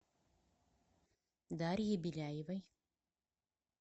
дарье беляевой